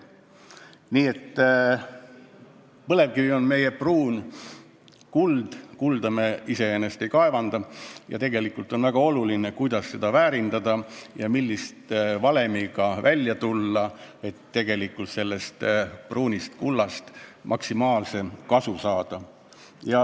Nii et põlevkivi on meie pruun kuld – kulda me iseenesest ei kaevanda –, st tegelikult on väga oluline, kuidas seda väärindada ja millise valemiga välja tulla, et sellest maksimaalset kasu saada.